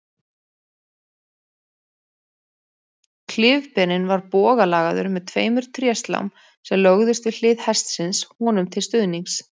Klyfberinn var bogalagaður með tveimur tréslám sem lögðust við hliðar hestsins honum til stuðnings.